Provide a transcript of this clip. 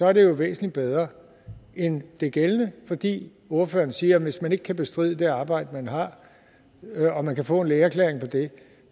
er det jo væsentligt bedre end det gældende fordi ordføreren siger at hvis man ikke kan bestride det arbejde man har og man kan få en lægeerklæring på det